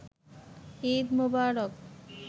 Eid Mobarak